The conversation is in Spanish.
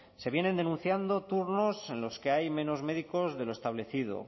se vienen denunciando turnos en los que hay menos médicos de lo establecido